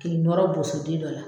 K'i nɔrɔ boso den dɔ la.